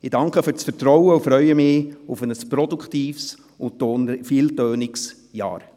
Ich danke für das Vertrauen und freue mich auf ein produktives und vieltönendes Jahr.